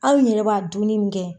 Aw yɛrɛ b'a dunni mun kɛ